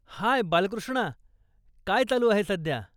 हाय बालकृष्णा, काय चालू आहे सध्या?